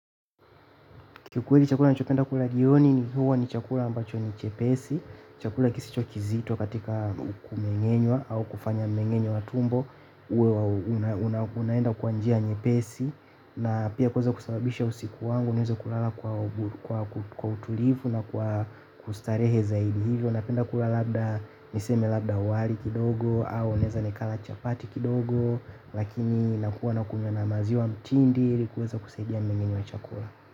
Kiukweli chakula ninachopenda kula jioni huwa ni chakula ambacho ni chepesi, chakula kisicho kizito katika kumeng'enywa au kufanya mmeng'enyo wa tumbo. Unaenda kwa njia nyepesi na pia kuweza kusababisha usiku wangu niweze kulala kwa utulivu na kwa kustarehe zaidi, hivyo napenda kula labda, niseme labda wali kidogo, au naweza nikala chapati kidogo. Lakini nakuwa nakunywa na maziwa ya mtindi ili kuweza kusaidia mnengenyo wa chakula.